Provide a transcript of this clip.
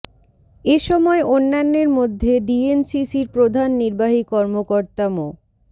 এ সময় অন্যান্যের মধ্যে ডিএনসিসির প্রধান নির্বাহী কর্মকর্তা মো